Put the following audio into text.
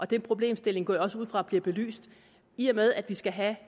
den problemstilling går jeg også ud fra bliver belyst i og med at vi skal have